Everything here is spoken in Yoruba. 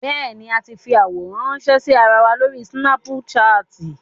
Bẹ́ẹ̀ni, a ti ń fi àwòrán ránńṣẹ́ sí ara wa lórí súnápúṣaàtì.